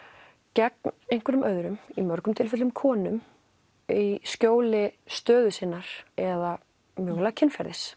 gegn einhverjum öðrum í mörgum tilfellum konum í skjóli stöðu sinnar eða mögulega kynferðis